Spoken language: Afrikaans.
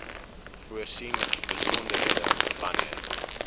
voorsien besonderhede wanneer